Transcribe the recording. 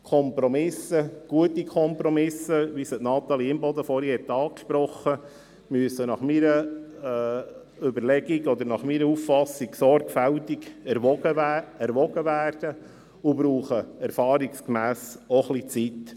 Kompromisse, gute Kompromisse, wie sie Natalie Imboden vorhin angesprochen hat, müssen nach meiner Auffassung sorgfältig erwogen werden und brauchen erfahrungsgemäss auch ein wenig Zeit.